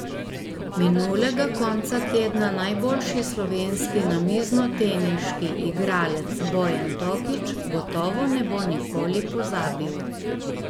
Minulega konca tedna najboljši slovenski namiznoteniški igralec Bojan Tokič gotovo ne bo nikoli pozabil.